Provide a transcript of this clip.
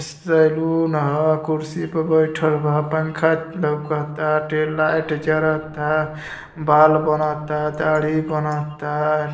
Saloon ह कुर्सी पे बइठल बा पंखा लउकता टेल लाइट जरता बाल बनाता दाढ़ी बनता।